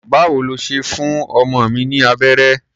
Báwo lo ṣe fún ọmọ mi ní abẹ́rẹ́?